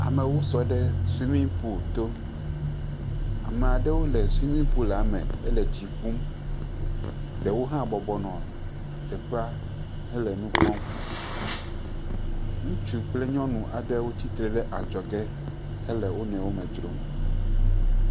Amewo sɔ ɖe sumi pul to. Ame aɖewo le sumi pula me ele tsi ƒum. Ɖewo hã bɔbɔnɔ teƒea hele nu kpɔm. Ŋutsu kple nyɔnu aɖewo tsitre ɖe adzɔge hele wo nɔewo me dzrom.